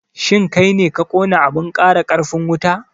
shin kaine ka kona abun ƙara ƙarfin wuta?